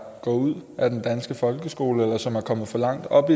går ud af den danske folkeskole eller som er kommet for langt op